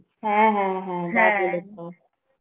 হ্যাঁ হ্যাঁ হ্যাঁ